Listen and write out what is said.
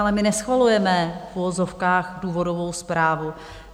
Ale my neschvalujeme v uvozovkách důvodovou zprávu.